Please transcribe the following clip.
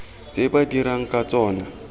tse ba dirang ka tsona